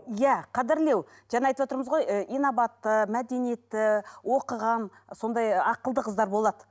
иә қадірлеу жаңа айтып отырмыз ғой ы инабатты мәдениетті оқыған сондай ақылды қыздар болады